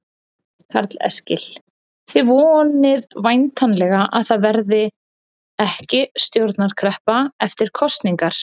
Karl Eskil: Þið vonið væntanlega að það verði ekki stjórnarkreppa eftir kosningar?